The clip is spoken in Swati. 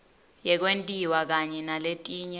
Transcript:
yekwentiwa kanye naletinye